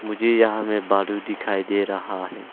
मुझे यहां में बॉर्डर दिखाई दे रहा है।